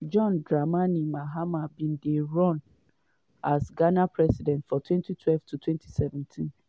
john dramani mahama bin dey dey run as ghana president from 2012 to 2017.